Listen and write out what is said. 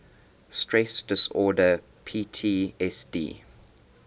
stress disorder ptsd